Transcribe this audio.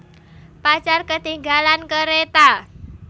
Pacar Ketinggalan Kereta